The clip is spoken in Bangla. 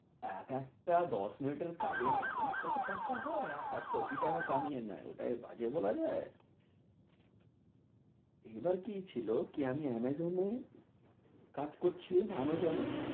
এক একটা দশ মিনিটের কাজের জানেন কত টাকা হয়, এক এক কোটি টাকা কামিয়ে নেয় ওটাকে বাজে বলা যায় এবার কি ছিল কি আমি আমাজোনে কাজ করছিলাম আমজোনে